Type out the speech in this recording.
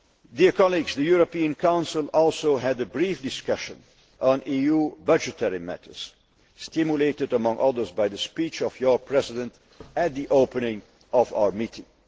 The European Council also had a brief discussion on EU budgetary matters, stimulated, among other things, by the speech of your President at the opening of our meeting.